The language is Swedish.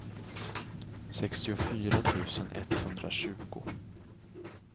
sextiofyra tusen etthundratjugo